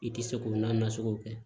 I tɛ se k'o nansɔngɔ kɛ